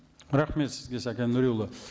рахмет сізге сәкен нуриұлы